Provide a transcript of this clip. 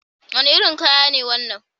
Wani irin kaya ne wannan?